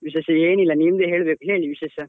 ವಿಶೇಷ ಏನಿಲ್ಲ ನಿಮ್ದೇ ಹೇಳ್ಬೇಕು ಹೇಳಿ ವಿಶೇಷ ?